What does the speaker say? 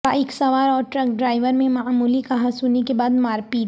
bike سوار اور truck driver میں معمولی کہاسنی کے بعد مارپیٹ